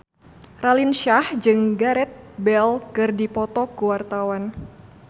Raline Shah jeung Gareth Bale keur dipoto ku wartawan